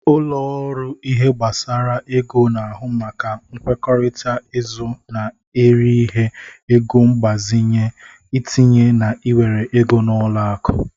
Ụlo ọrụ ihe gbasara ego na-ahụ maka nkwekọrịta izụ na eri ihe, ego mgbazinye, itinye na iwere ego n'ụlọ akụ.